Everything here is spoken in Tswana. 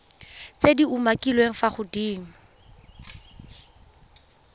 tse di umakiliweng fa godimo